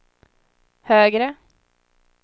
högre